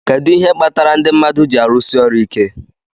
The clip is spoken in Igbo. Kedu ihe kpatara ndị mmadụ ji árụ̀si ọrụ iké?